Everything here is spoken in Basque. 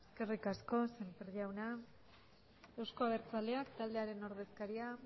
eskerrik asko sémper jauna euzko abertzaleak taldearen ordezkaria